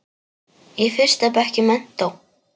Í fyrsta bekk í menntó.